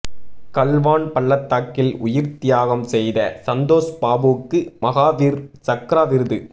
கல்வான் பள்ளத்தாக்கில் உயிா்த் தியாகம் செய்த சந்தோஷ் பாபுவுக்கு மஹாவீா் சக்ரா விருது